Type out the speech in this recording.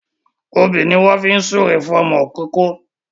Òbí ni wọ́n fi ń súre fún ọmọ ìkóókó